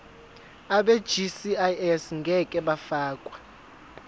abegcis ngeke bafakwa